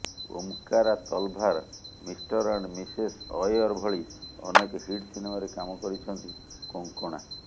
Omkara Talvar Mr and Mrs Iyer ଭଳି ଅନେକ hit ସିନେମାରେ କାମ କରିଛନ୍ତି କୋଙ୍କଣା